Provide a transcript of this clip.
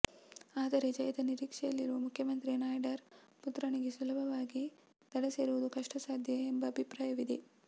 ಆದರೆ ಜಯದ ನಿರೀಕ್ಷೆಯಲ್ಲಿರುವ ಮುಖ್ಯಮಂತ್ರಿ ನಾಯ್ಡುರ ಪುತ್ರನಿಗೆ ಸುಲಭವಾಗಿ ದಡ ಸೇರುವುದು ಕಷ್ಟ ಸಾಧ್ಯ ಎಂಬ ಅಭಿಪ್ರಾಯವಿದೆ